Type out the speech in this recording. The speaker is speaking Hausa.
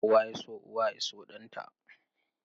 Kowa ya so uwa ya so ɗanta.